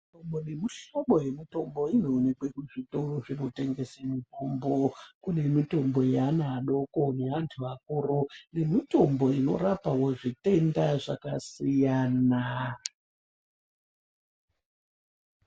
Mihlobo nemihlobo yemitombo inoonekwa kuzvitoro zvinotengeswa mitombo kune mitombo yevana vadoko yevantu vakuru nemitombo inorapawo zvitenda zvakasiyana.